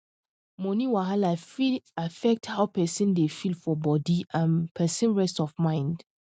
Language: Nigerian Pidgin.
money wahala fit affect how person dey feel for body and person rest of mind